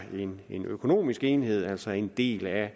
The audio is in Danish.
en økonomisk enhed altså en del af